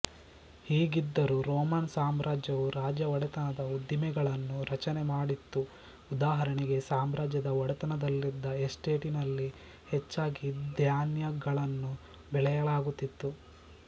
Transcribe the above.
ಹೀಗಿದ್ದರೂ ರೋಮನ್ ಸಾಮ್ರಾಜ್ಯವು ರಾಜ್ಯ ಒಡೆತನದ ಉದ್ದಿಮೆಗಳನ್ನು ರಚನೆ ಮಾಡಿತ್ತುಉದಾಹರಣೆಗೆ ಸಾಮ್ರಾಜ್ಯದ ಒಡೆತನದಲ್ಲಿದ್ದ ಎಸ್ಟೇಟಿನಲ್ಲಿ ಹೆಚ್ಚಾಗಿ ಧ್ಯಾನ್ಯಗಳನ್ನು ಬೆಳೆಯಲಾಗುತ್ತಿತ್ತು